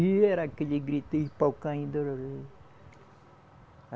E era aquele grito e pau caindo.